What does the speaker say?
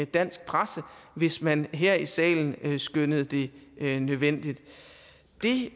dansk presse hvis man her i salen skønnede det nødvendigt det